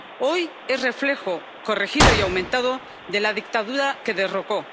Hoy, es reflejo corregido y aumentado de la dictadura que derrocó.